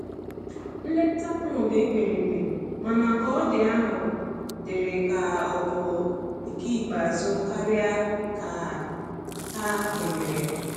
Nleta ahu ndi mkpirikpi, mana ka ọ di ahụ diri ka ọ bụ nke ikpeazu karia ka ha kwenyere.